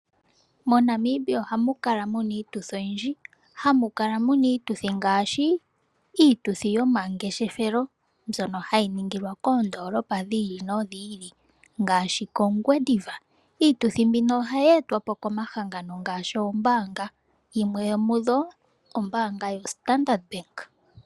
MoNamibia ohamu kala mu na iituthi oyindji. Hamu kala mu na iituthi ngaashi iituthi yomangeshefelo mbyono hayi ningilwa koondoolopa dhi ili nodhi ili ngaashi kOngwediva. Iituthi mbino ohayi yi etwa po komahangano ngaashi oombaanga, yimwe yomudho ombaanga yoStandard Bank.